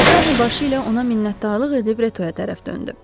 Deşarni başı ilə ona minnətdarlıq edib Retoya tərəf döndü.